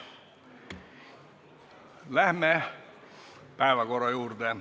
Läheme päevakorra juurde.